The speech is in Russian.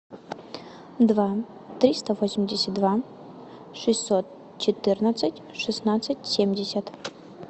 два триста восемьдесят два шестьсот четырнадцать шестнадцать семьдесят